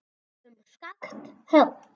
Um skakkt högg